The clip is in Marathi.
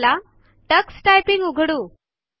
चला टक्स टायपिंग उघडू या